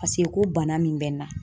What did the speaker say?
Paseke ko bana min bɛ n na.